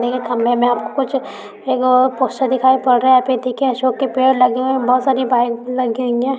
ऐ खम्भा में कुछ लगा हुवा अशोक के पेड़ लगे दिखाय पड़ रहा है पेड लगे हुएबहुत सारी बाइक लगी हुई है।